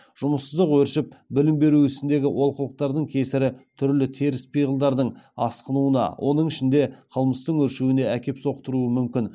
жұмыссыздық өршіп білім беру ісіндегі олқылықтардың кесірі түрлі теріс пиғылдардың асқынуына оның ішінде қылмыстың өршуіне әкеп соқтыруы мүмкін